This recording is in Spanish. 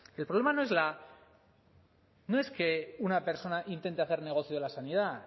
el problema no es la no es que una persona intente hacer negocio de la sanidad